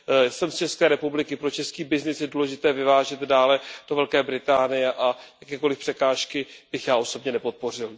Jsem z České republiky, pro český byznys je důležité vyvážet dále do Velké Británie a jakékoliv překážky bych já osobně nepodpořil.